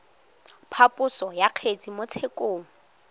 phaposo ya kgetse mo tshekong